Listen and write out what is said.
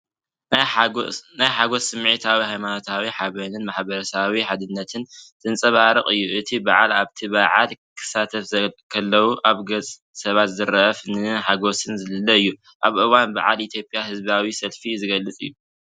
ናይ ሓጎስ ስምዒትን ሃይማኖታዊ ሓበንን ማሕበረሰባዊ ሓድነትን ዘንጸባርቕ እዩ። እቲ በዓል ኣብቲ በዓል ክሳተፉ ከለዉ ኣብ ገጽ ሰባት ዝረአ ፍናንን ሓጎስን ዝልለ እዩ። ኣብ እዋን በዓላት ኢትዮጵያ ህዝባዊ ሰልፊ ዝገልጽ እዩ።